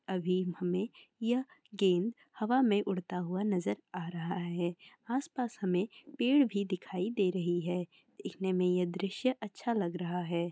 अभी हमे यह गेंद हवा में उड़ता हुआ नज़र आ रहा है आस पास हमे पेड़ भी दिखाई दे रही है देखने में यह दृश्य अच्छा लग रहा है।